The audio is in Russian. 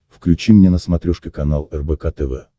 включи мне на смотрешке канал рбк тв